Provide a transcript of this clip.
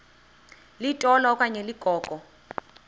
litola okanye ligogo